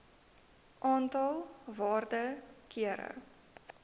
aantal waarde kere